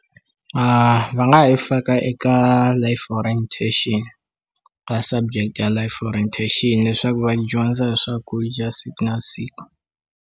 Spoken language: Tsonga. Va nga ha yi faka eka life orientation ka subject ya life orientation leswaku va dyondza hi swakudya siku na siku.